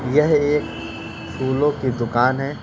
यह एक फूलों की दुकान है।